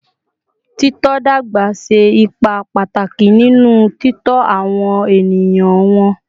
Tito dagba ṣe ipa pataki ninu titọ awọn eniyan wọn